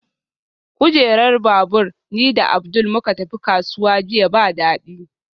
Kujerar babur ni da Abdul muka tafi kasuwa jiya ba dadi